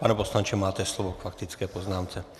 Pane poslanče, máte slovo k faktické poznámce.